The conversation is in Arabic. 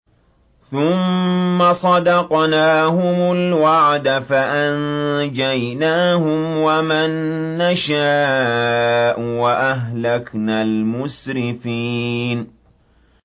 ثُمَّ صَدَقْنَاهُمُ الْوَعْدَ فَأَنجَيْنَاهُمْ وَمَن نَّشَاءُ وَأَهْلَكْنَا الْمُسْرِفِينَ